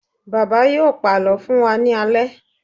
Bàbá yóò pàlọ́ fún wa ní alẹ́.